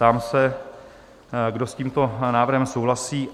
Ptám se, kdo s tímto návrhem souhlasí?